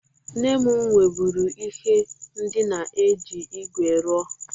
Nne m nweburu ihe ndịna e ji igwe rụọ.